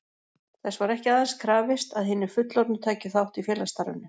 Þess var ekki aðeins krafist, að hinir fullorðnu tækju þátt í félagsstarfinu.